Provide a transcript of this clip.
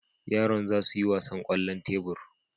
Yaran za su yi wasan kwallon tebur.